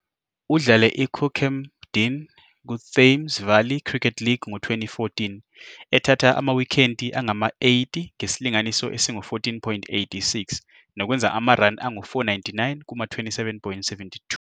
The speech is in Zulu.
Udlale iCookham Dean kuThames Valley Cricket League ngo-2014, ethatha amawikhethi angama-80 ngesilinganiso esingu-14.86 nokwenza ama-run angu-499 kuma-27.72.